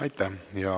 Aitäh!